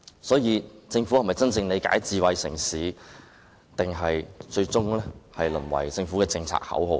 所以，政府是否真正了解智慧城市，還是最終淪為政策口號呢？